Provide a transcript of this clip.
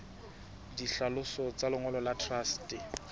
ditlhaloso tsa lengolo la truste